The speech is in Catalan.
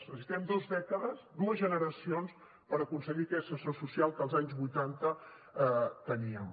necessitem dos dècades dues generacions per aconseguir aquest ascensor social que als anys vuitanta teníem